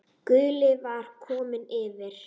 Gulli var kominn yfir.